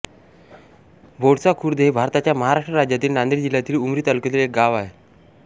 बोळसा खुर्द हे भारताच्या महाराष्ट्र राज्यातील नांदेड जिल्ह्यातील उमरी तालुक्यातील एक गाव आहे